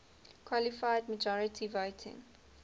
qualified majority voting